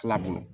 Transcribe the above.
Ala bolo